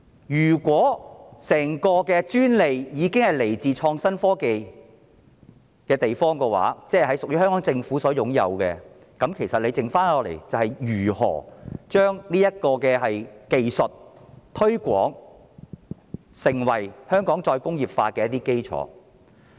如果整個專利是來自創新及科技局的話，即屬於香港政府所擁有，那麼餘下要做的，就是如何將這技術推廣成為香港再工業化的基礎。